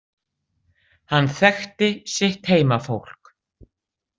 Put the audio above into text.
Hann þekkti sitt heimafólk.